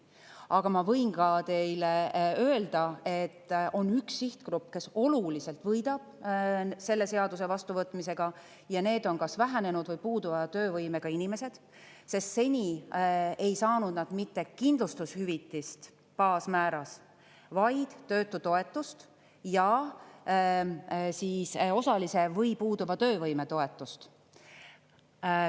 Aga ma võin teile öelda, et on üks sihtgrupp, kes oluliselt võidab selle seaduse vastuvõtmisega, ja need on kas vähenenud või puuduva töövõimega inimesed, sest seni ei saanud nad mitte kindlustushüvitist baasmääras, vaid töötutoetust ja osalise või puuduva töövõime toetust.